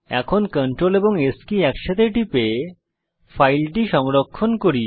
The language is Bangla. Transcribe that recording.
এখন Ctrl এবং S কি একসাথে টিপে ফাইলটি সংরক্ষণ করি